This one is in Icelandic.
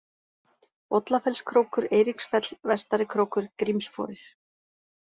Bollafellskrókur, Eiríksfell, Vestarikrókur, Grímsforir